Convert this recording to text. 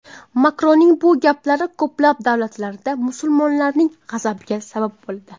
Makronning bu gaplari ko‘plab davlatlarda musulmonlarning g‘azabiga sabab bo‘ldi.